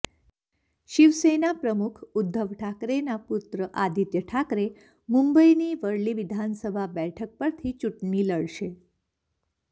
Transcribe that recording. શિવસેના પ્રમુખ ઉદ્ધવ ઠાકરેનાં પુત્ર આદિત્ય ઠાકરે મુંબઇની વર્લી વિધાનસભા બેઠક પરથી ચૂંટણી લડશે